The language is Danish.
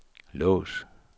lås